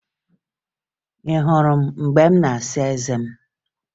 Ị hụrụ mgbe m na-asa eze m?